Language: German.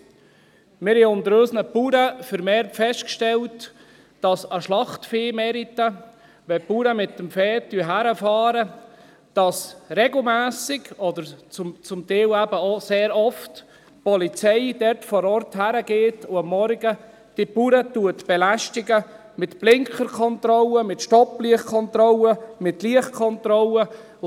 : Wir haben seitens unserer Bauern vermehrt festgestellt, dass an Schlachtviehmärkten, wenn die Bauern mit dem Vieh hinfahren, regelmässig, oder zum Teil eben auch sehr oft, die Polizei vor Ort ist und am Morgen diese Bauern belästigt mit Blinkerkontrollen, mit Stopplichtkontrollen, mit Lichtkontrollen.